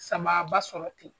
Sababa sɔrɔ ten.